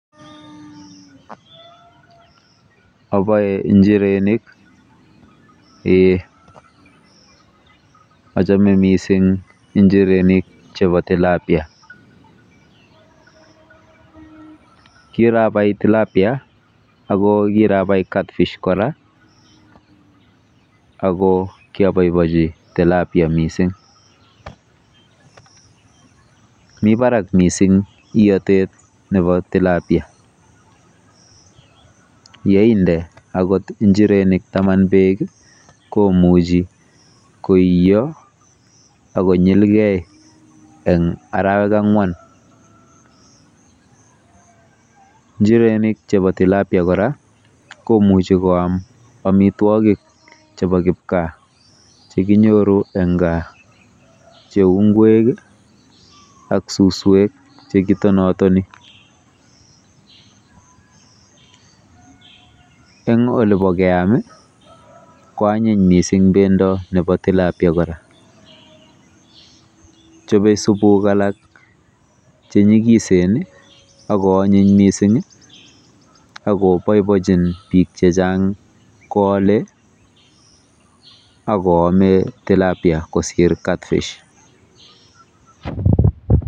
Oboe njirenik. Eee. Achame mising njirenik chebo tilapia. Kirabai TILAPIA ako kirabai catfish kora ako kiabobochi TILAPIA mising. Mi barak mising iotet nebo tilapia ako yeinde njirenik beek komichi koiyo akonyilgei eng arawek ang'wan. Njirenik chebo tilapia kora komuchi koam amitwogik chebo kipgaa chekinyoru eng kaa cheu ngwek ak suswek chekitonatony. Eng olibo keam koanyiny mising bendo nebo tilapia kora. Chobe subuk alak chenyikisen akoonyiny mising, akoboibochin bik chechang koole akoome tilapia kosir CATFISH.